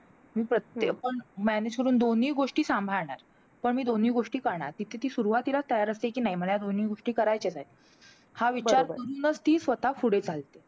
प्रत्येक अं manage करून दोन्ही गोष्टी सांभाळणार. पण मी दोन्ही गोष्टी करणार. तिथे ती सुरुवातीलाच तयार असते, कि नाही मला ह्या दोन्ही गोष्टी करायच्याच आहेत. हा विचार करूनचं ती स्वतः पुढे चालते.